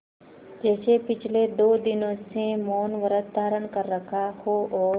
जैसे पिछले दो दिनों से मौनव्रत धारण कर रखा हो और